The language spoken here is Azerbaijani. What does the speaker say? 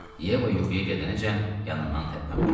Yeva yuxuya gedənəcən yanından tərpənmədi.